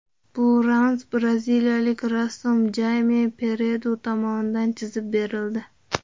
Bu ramz braziliyalik rassom Jayme Peredu tomonidan chizib berildi.